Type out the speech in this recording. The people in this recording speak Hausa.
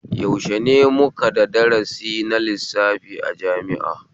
Yaushe ne muka da darasi na lissafi a jami'a?